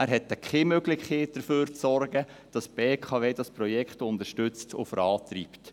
Er hat keine Möglichkeit, dafür zu sorgen, dass die BKW das Projekt unterstützt und vorantreibt.